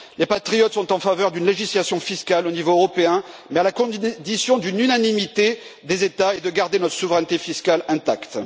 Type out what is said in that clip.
Les patriotes sont en faveur d'une législation fiscale au niveau européen, mais à la condition d'une unanimité des États et du maintien de notre souveraineté fiscale intacte.